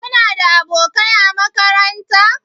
Kuna da abokai a makaranta?